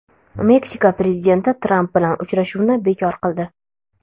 Meksika prezidenti Tramp bilan uchrashuvni bekor qildi.